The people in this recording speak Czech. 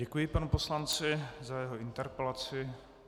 Děkuji panu poslanci za jeho interpelaci.